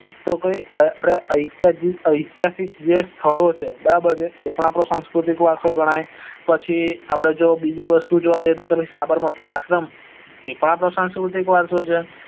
તો કોઈ અઈત્યાસિક જે સ્થળો છે બરાબર એ પણ આપડો સાંસ્કૃતિક વરસો ગણાય પછ જો આપડે જો બીજી વસ્તુ જોવા જઈએ તો સાબરમતી આશ્રમ એ પણ આપડો સાંસ્કૃતિક વારસો છે